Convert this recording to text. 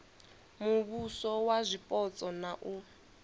muvhuso wa zwipotso na u